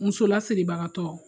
Muso lasiribagatɔ